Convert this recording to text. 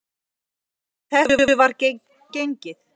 Að þessu var gengið.